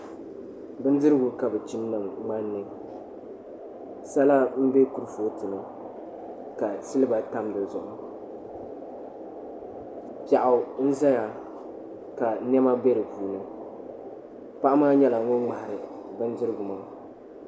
Bindirigu ka bi chim niŋ ŋmanni sala n bɛ kurifooti ni ka silba tam di zuɣu piɛɣu n ʒɛya ka niɛma bɛ di puuni paɣa maa nyɛla ŋun ŋmahari bindirigu maa